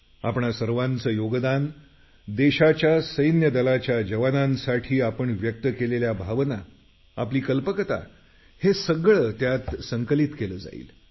आपणा सर्वांचं योगदान देशाच्या सैन्यदलाच्या जवानांसाठी आपण व्यक्त केलेल्या भावना आपली कल्पकता हे सगळं त्यात संकलित केलं जाईल